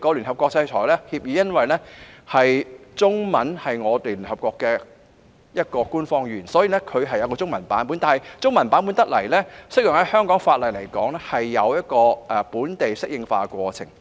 由於中文是聯合國的其中一種官方語言，所以制裁協議有中文本；但若要讓這個中文本適用於香港法例，便應該有本地適應化的過程。